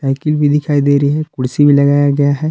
Cycle भी दिखाई दे रही है कुर्सी भी लगाया गया है।